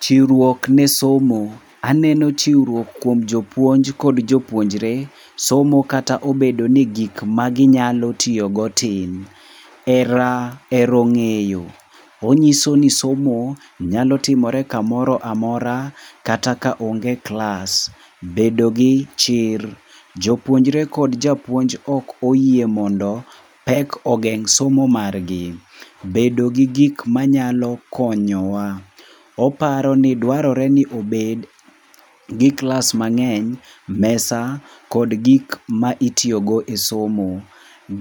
Chiwruok ne somo. Aneno chiwruok kuom jopuonj kod jopuonjre somo kata obedo ni gik maginyalo tiyogo tin. Hero ng'eyo. Onyiso ni somo nyalo timore kamoro amora kata ka kaonge klas. Bedo gi chir. Jopuonjre kod japuonj ok oyie mondo pek ogeng' somo margi. Bedo gi gik manyalo konyowa. Oparo ni dwarore ni obed gi klas mang'eny, mesa kod gik ma itiyogo e somo.